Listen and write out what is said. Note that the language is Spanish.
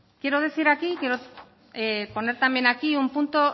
quiero decir aquí quiero poner también aquí un punto